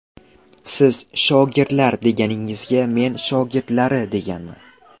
Siz ‘shogirdlar’ deganingizga men shogirdlari deganman.